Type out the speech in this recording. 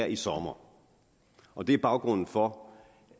i sommer og det er baggrunden for